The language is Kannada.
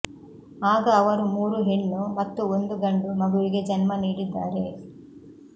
ಆಗ ಅವರು ಮೂರು ಹೆಣ್ಣು ಮತ್ತು ಒಂದು ಗಂಡು ಮಗುವಿಗೆ ಜನ್ಮ ನೀಡಿದ್ದಾರೆ